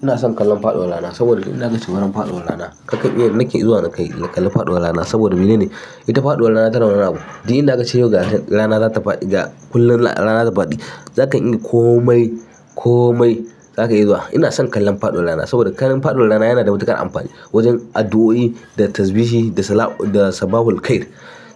Ina son kallon faɗuwar rana saboda idan aka ci wurin faɗuwar rana, kakan iya nake zuwa ka yi kallon faɗuwar rana saboda mene ne? Ita faɗuwar rana tana da wani abu duk inda aka ce yau ga ta rana za ta faɗi, ga kullum rana za ta faɗi. Zaka dinga komai, komai zaka iya zuwa. Ina son kallon faɗuwar rana saboda kallon faɗuwar rana yana da matuƙar amfani wajen addu'o'i da tasbishi da salam da sabahul khair.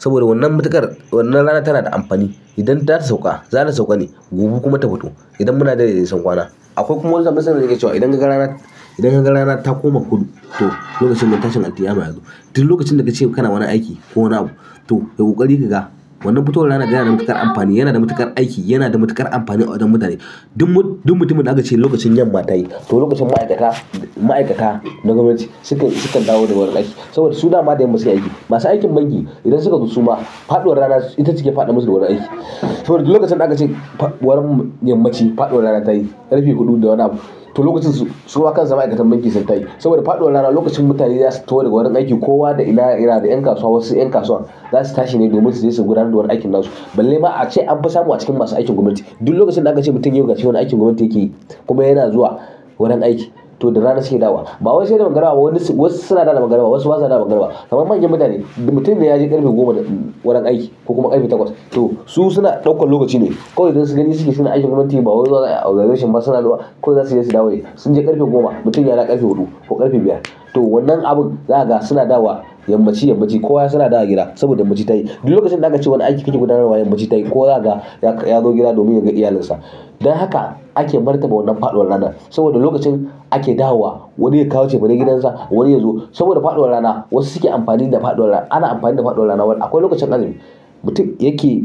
Saboda wannan matuƙar wannan rana tana da amfani. Idan za ta sauka, za ta sauka ne gobe kuma ta fito idan muna dai da nesan kwana. Akwai kuma wata masana'a da yake cewa idan ka ga rana, idan ka ga rana ta koma kudu to lokacin man tashin alkiyama yazo. Duk lokacin da ka ce kana wannan aiki ko wani abu to kayi ƙoƙari ka ga. Wannan futowar rana yana da matuƙar amfani, yana da matuƙar aiki, yana da matuƙar amfani a wajen mutane. Duk mut, duk mutumin da aka ce lokacin yamma ta yi to lokacin ma'aikata, ma'aikata na gwamnati suke, sukan dawo da ga wurin aiki saboda su da ma da yamma suke aiki. Masu aikin banki idan suka zo suma, faɗuwar rana ita ce ke faɗa musu da wurin aiki. To duk lokacin da aka ce fa wurin yammaci, faɗuwar rana ta yi ƙarfe huɗu da wani abu. To lokacin su, suma kan su ma'aikatan banki sun tashi saboda faɗuwar rana lokacin mutane za su taho daga wurin aiki, kowa da ina da ina, da ƴan kasuwa, wasu ƴan kasuwa za su tashi ne domin su je su gudanar da wuni aikin nasu. Balle ma a ce an fi samu a cikin masu aikin gwamnati. Duk lokacin da aka ce mutum ya buƙaci wani aikin gwamnati yakeyi, kuma yana zuwa wurin aiki, to da zara suke dawowa ba wai sai da magarba ba, wani wasu suna dawowa da magarbawa, wasu ba sa dawo a magarbawa. Kaman manyan mutane, mutum ne ya je ƙarfe goma wurin aiki ko kuma ƙarfe takwas to su suna ɗaukan lokaci ne. Kawai dai gani suke suna aikin gwamnati ba wai zuwa za a yi ayi observation ba suna zuwa kawai zasu iya su dawo ne. Sun je ƙarfe goma, mutum yadawo ƙarfe huɗu ko ƙarfe biyar. To wannan abun, za ka ga suna dawowa yammaci, yammaci kowa su na dawo gida saboda yammaci ta yi. Duk lokacin da aka ce wani aiki kake gudanarwa yammaci ta yi ko wa za ka ga, yak ya zo gida domin yaga iyalinsa. Dan haka ake martaba wannan faɗuwar rana saboda lokacin ake dawowa wani ya kawo cefeni gidansa wani ya zo saboda faɗuwar rana. Wasu suke amfani da faɗuwar rana, ana amfani da faɗuwar rana wur a ko lokacin azumi. Mutum yake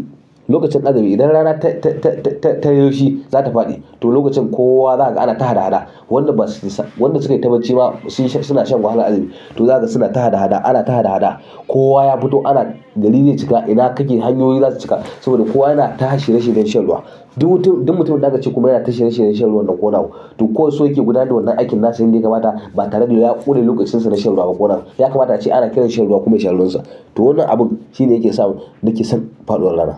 lokacin azumi idan rana ta, ta, ta, ta, ta, ta yiwu shi za ta faɗi. To lokacin kowa zaka ga ana ta haɗa haɗa wadan basu sa, wanda suketa barci ma suna shan wahala a azumi. To za ka ga suna ta ha da haɗa, ana ta ha da haɗa. Kowa ya fito ana, gari zai cika ina kake hanyoyin za su cika saboda kowa yana ta shirmye shiryen shan ruwa. Duk mutum, duk mutumin da aka ce kuma yana ta shirye shiryen shan ruwan nan ko wani abu. To ka wai so yake gudanar da wannan aikin nasa inda ya kamata ba tare da ya ƙune lokacinsa na shan ruwa ba ko wani abu. Ya kamata ace ana kiran shan ruwa kuma ya sha ruwansa. To wannan abun shine yake sa mun nake son faɗuwar rana.